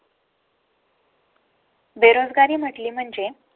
बेरोजगारी म्हटली म्हणजे.